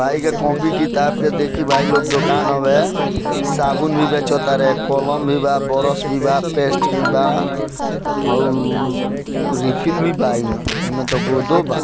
भाई के कॉपी किताब के देखि भाई लोग दुकान होबे साबुन भी बेच तारे कलम भी बा ब्रश भी बा पेस्ट भी बा और रिफिल भी बा एमए गोंदो बा।